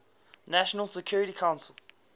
nations security council